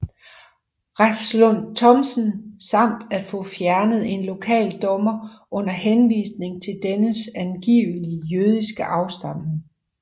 Refslund Thomsen samt at få fjernet en lokal dommer under henvisning til dennes angivelige jødiske afstamning